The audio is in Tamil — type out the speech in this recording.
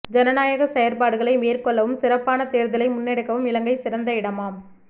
ஜனநாயக செயற்பாடுகளை மேற்கொள்ளவும் சிறப்பான தேர்தலை முன்னெடுக்கவும் இலங்கை சிறந்த இடமாம்